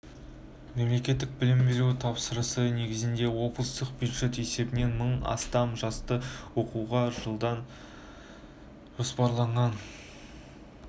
мемлекеттік білім беру тапсырысы негізінде облыстық бюджет есебінен мың астам жасты оқуға қабылдау жоспарланған қазір